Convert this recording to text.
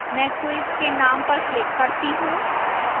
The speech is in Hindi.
मैं quiz के name पर click करती हूँ